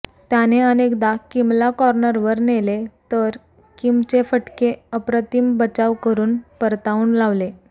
त्याने अनेकदा किमला कॉर्नरवर नेले तर किमचे फटके अप्रतिम बचाव करून परतावून लावले